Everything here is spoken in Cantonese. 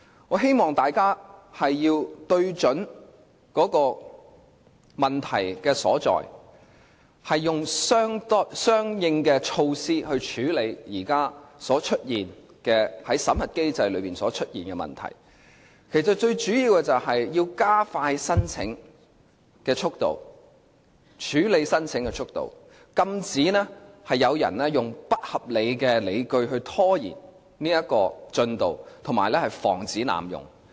我希望大家聚焦問題所在，用相應措施處理現時審核機制出現的問題，最主要是要加快處理申請速度，禁止有人用不合理的理據拖延進度及防止濫用。